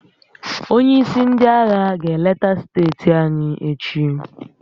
Onye isi ndị agha ga-eleta steeti anyị echi.